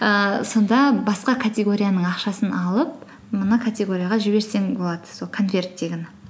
ііі сонда басқа категорияның ақшасын алып мына категорияға жіберсең болады сол конверттегіні